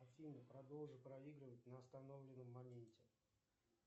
афина продолжи проигрывать на остановленном моменте